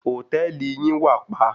Hòtẹ́ẹ̀lì yín wàpa.